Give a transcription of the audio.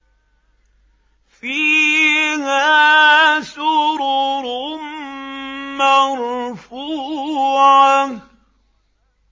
فِيهَا سُرُرٌ مَّرْفُوعَةٌ